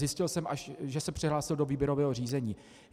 Zjistil jsem až, že se přihlásil do výběrového řízení.